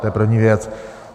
To je první věc.